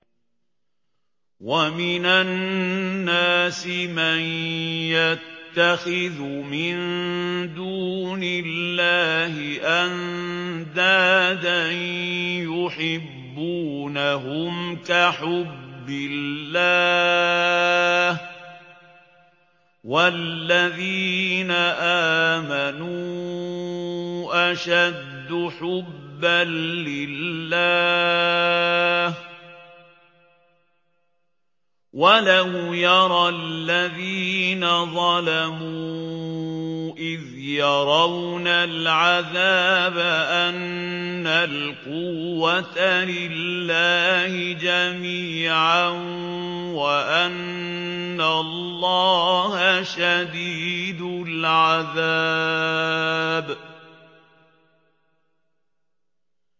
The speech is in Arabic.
وَمِنَ النَّاسِ مَن يَتَّخِذُ مِن دُونِ اللَّهِ أَندَادًا يُحِبُّونَهُمْ كَحُبِّ اللَّهِ ۖ وَالَّذِينَ آمَنُوا أَشَدُّ حُبًّا لِّلَّهِ ۗ وَلَوْ يَرَى الَّذِينَ ظَلَمُوا إِذْ يَرَوْنَ الْعَذَابَ أَنَّ الْقُوَّةَ لِلَّهِ جَمِيعًا وَأَنَّ اللَّهَ شَدِيدُ الْعَذَابِ